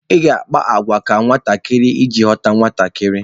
Ị ga akpa àgwà ka nwatakịrị iji ghọta nwatakịrị.